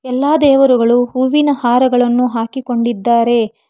ಎಲ್ಲಾ ದೇವರುಗಳು ಹೂವಿನ ಹಾರವನ್ನು ಹಾಕಿಕೊಂಡಿದ್ದಾರೆ.